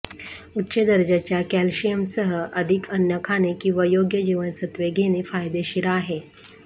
उच्च दर्जाच्या कॅल्शियमसह अधिक अन्न खाणे किंवा योग्य जीवनसत्त्वे घेणे फायदेशीर आहे